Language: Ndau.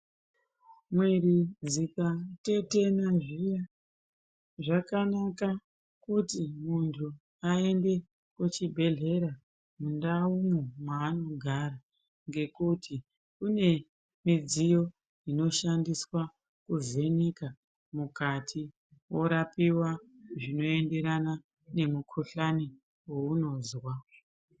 Mwiri dzikatetena zviya zvakanaka kuti muntu aende kuchibhedhlera mundawu maanogara, ngekuti mune midziyo inoshandiswa kuvheneka mukati orapiwa zvinoenderana nemukuhlane waunonzwa.